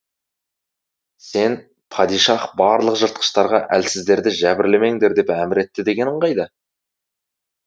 сен падишах барлық жыртқыштарға әлсіздерді жәбірлемеңдер деп әмір етті дегенің қайда